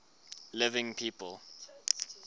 living people